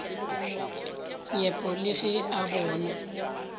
nyepo le ge a bona